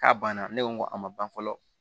K'a banna ne ko n ko a ma ban fɔlɔ